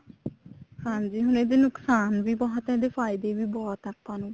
ਹਾਂਜੀ ਹੁਣ ਇਹਦੇ ਨੁਕਸਾਨ ਵੀ ਬਹੁਤ ਆ ਫਾਇਦੇ ਵੀ ਬਹੁਤ ਆ ਆਪਾਂ ਨੂੰ